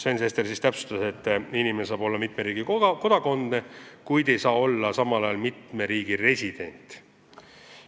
Sven Sester täpsustas, et inimesel saab olla mitme riigi kodakondsus, kuid ta ei saa samal ajal olla mitme riigi resident.